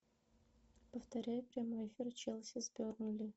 повторяй прямой эфир челси с бернли